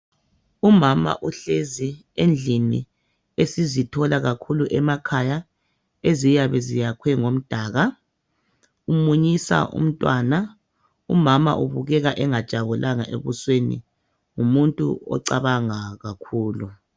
Umama uhlezi endlini esizithola kakhulu emakhaya eziyabe ziyakhwe ngomdaka umunyisa umntwana umama ubukeka engajabulanga ebusweni ngumuntu ocabangayo